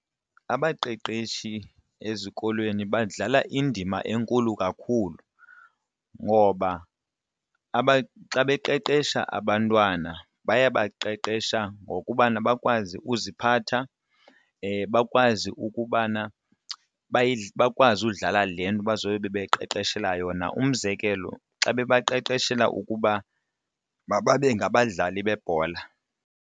Abaqeqeshi ezikolweni badlala indima enkulu kakhulu ngoba xa beqeqesha abantwana bayabaqeqesha ngokubana bakwazi uziphatha bakwaz ukubana bakwazi ukudlala le nto bazobe bebeqeqeshelwa yona, umzekelo xa bebeqeqeshela ukuba mababe ngabadlali bebhola.